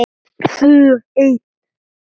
Tvö ein.